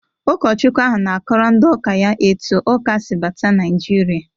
Ụkọchukwu ahụ na-akọrọ ndị ụka ya etu Ụkasi bata Nigeria.